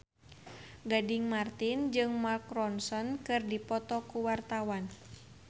Gading Marten jeung Mark Ronson keur dipoto ku wartawan